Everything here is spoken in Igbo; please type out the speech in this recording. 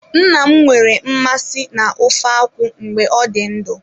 Nna m nwere mmasị na ofe ofe akwụ mgbe ọ dị ndụ.